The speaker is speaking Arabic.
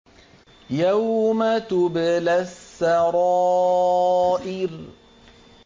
يَوْمَ تُبْلَى السَّرَائِرُ